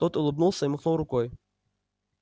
тот улыбнулся и махнул рукой